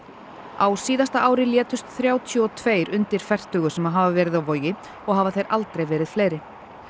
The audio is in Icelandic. á síðasta ári létust þrjátíu og tvö undir fertugu sem hafa verið á Vogi og hafa þeir aldrei verið fleiri